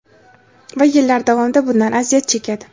Va yillar davomida bundan aziyat chekadi.